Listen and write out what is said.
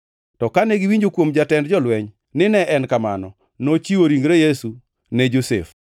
To kane owinjo kuom jatend jolweny ni ne en kamano, nochiwo ringre Yesu ne Josef.